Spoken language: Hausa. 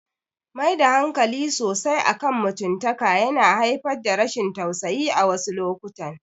Maida hankali sosai akan mutumtaka yana haifar da rashin tasusayi a wasu lokutan.